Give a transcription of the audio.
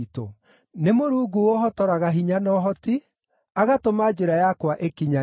Nĩ Mũrungu ũũhotoraga hinya na ũhoti, agatũma njĩra yakwa ĩkinyanĩre.